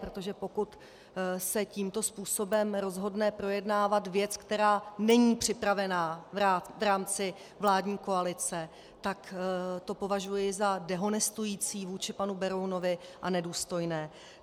Protože pokud se tímto způsobem rozhodne projednávat věc, která není připravena v rámci vládní koalice, tak to považuji za dehonestující vůči panu Berounovi a nedůstojné.